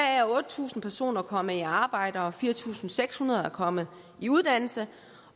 er otte tusind personer kommet i arbejde og fire tusind seks hundrede er kommet i uddannelse